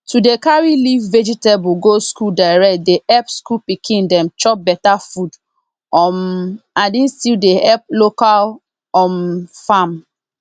to dey carry leaf vegetable go school direct dey epp school pikin dem chop beta food um and e still dey epp local um farm